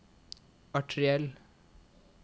arteriell